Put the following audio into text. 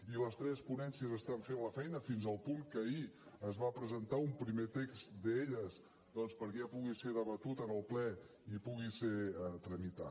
i les tres ponències estan fent la feina fins al punt que ahir es va presentar un primer text d’elles doncs perquè ja pugui ser debatut en el ple i pugui ser tramitat